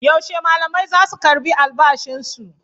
Yaushe malamai zasu karɓi albashin su?